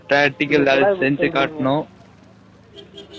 practical ல அத சென்சி காட்டனும்